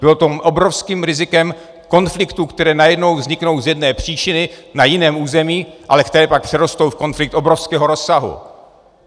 Bylo to obrovským rizikem konfliktů, které najednou vzniknou z jedné příčiny na jiném území, ale které pak přerostou v konflikt obrovského rozsahu.